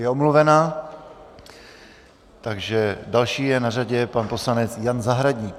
Je omluvena, takže další na řadě je pan poslanec Jan Zahradník.